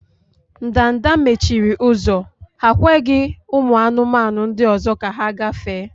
Ndanda mechiri ụzọ, ha ekweghị ụmụ anụmanụ ndị ọzọ ka ha gafee.